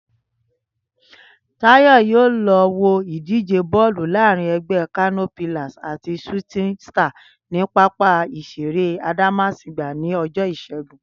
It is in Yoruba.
Táyò̩ yóò lo̩ wo ìdíje bó̩ò̩lu láàárín e̩gbé̩ Kano Pillars àti Shooting Stars ní pápá ìs̩eré Adámásingbà ní o̩jó̩ Ìs̩é̩gun